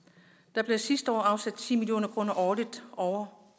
der blev sidste år afsat ti million kroner årligt over